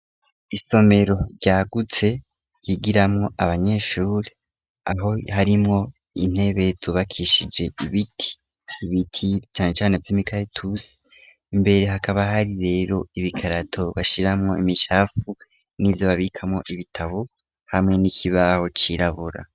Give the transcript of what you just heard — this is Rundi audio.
Isomero ryagutse ryigiramwo abanyeshuri aho harimwo intebe zubakishije ibiti ,ibiti cane cane vy’imikaratusi imbere hakaba hari rero ibikarato bashiramwo imicafu n'ivyo babikamo ibitabo hamwe n'ikibaho cirabura.